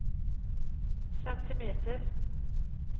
centimeter